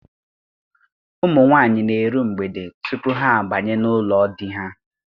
Ụmụ nwaanyị na-eru mgbede tupu ha abanye n'ụlọ di ha.